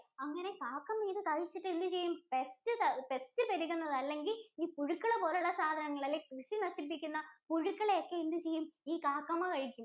അങ്ങനെ കാക്കമ്മ ഇത് കഴിച്ചിട്ട് എന്ത് ചെയ്യും? pestpest പെരുകുന്ന അല്ലെങ്കിൽ ഈ പുഴുക്കളെ പോലുള്ള സാധനങ്ങളെ അല്ലെങ്കിൽ കൃഷി നശിപ്പിക്കുന്ന പുഴുക്കളെ ഒക്കെ എന്ത് ചെയ്യും? ഈ കാക്കമ്മ കഴിക്കും.